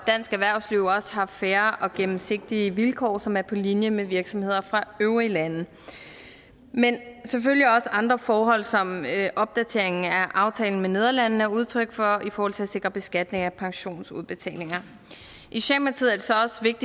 dansk erhvervsliv også har fair og gennemsigtige vilkår som er på linje med virksomheders fra øvrige lande men selvfølgelig også andre forhold som opdateringen af aftalen med nederlandene er udtryk for i forhold til at sikre beskatning af pensionsudbetalinger